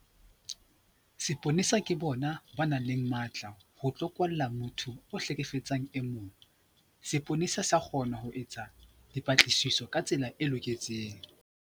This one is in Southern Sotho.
Seponesa ke bona ba nang le matla ho tlo kwalla motho a hlekefetsang e mong. Seponesa sa kgona ho etsa dipatlisiso ka tsela e loketseng.